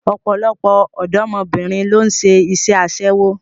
Ọ̀pọ̀lọpọ̀ ọ̀dọ́mọbìnrin ló ń ṣe iṣẹ́ aṣẹ́wó